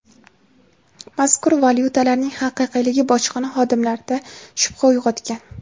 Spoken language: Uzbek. mazkur valyutalarning haqiqiyligi bojxona xodimlarida shubha uyg‘otgan.